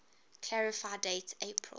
clarify date april